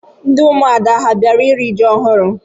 Ndị ụmụada a bịara iri ji ọhụrụ?